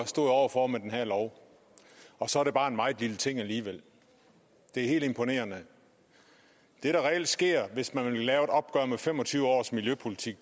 står over for med den her lov og så er det bare en meget lille ting alligevel det er helt imponerende det der reelt sker hvis man vil lave et opgør med fem og tyve års miljøpolitik